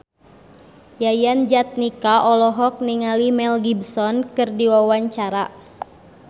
Yayan Jatnika olohok ningali Mel Gibson keur diwawancara